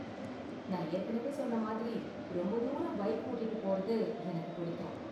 நான் ஏற்கனவே சொன்ன மாதிரி, ரொம்ப தூரம் பைக் ஓட்டிட்டு போறது எனக்கு பிடிக்கும்.